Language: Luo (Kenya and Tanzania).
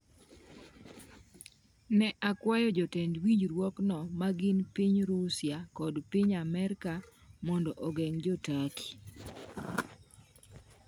Ne okwayo jotend winjruokno, ma gin piny Rusia kod piny Amerka, mondo ogeng’ jo Turkey.